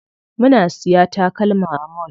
Muna siya takalma a mall.